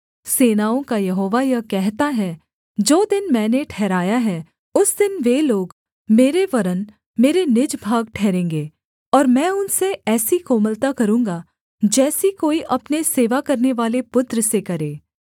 सेनाओं का यहोवा यह कहता है जो दिन मैंने ठहराया है उस दिन वे लोग मेरे वरन् मेरे निज भाग ठहरेंगे और मैं उनसे ऐसी कोमलता करूँगा जैसी कोई अपने सेवा करनेवाले पुत्र से करे